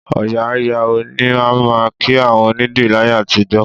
Òòyà á yà ó ni a máa ń kí àwọn onîdìrí láyé àtijọ́